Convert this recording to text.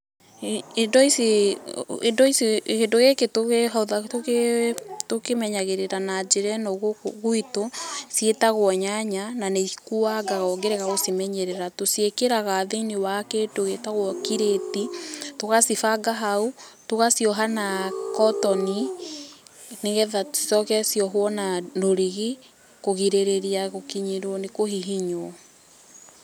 Indo ici, indo ici, Kĩndũ gĩkĩ tũkĩ ,tũkĩmenyagĩrĩra na njĩra ĩno gũkũ gwitũ, ciĩtagwo nyanya, na nĩ ikuangaga ũngĩrega gũcimenyerera, tũciĩkĩraga thĩ-inĩ wa kĩndũ gĩtagwo kirĩti, tũgacibanga hau, tũgacioha na kotoni, nĩgetha cicoke ciohwo na rũrigi kũgirĩrĩria gũkinyĩrwo nĩ kũhihinywo.